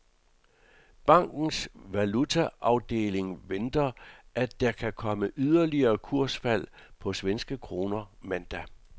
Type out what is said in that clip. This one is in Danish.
Bankens valutaafdeling venter, at der kan komme yderligere kursfald på svenske kroner mandag.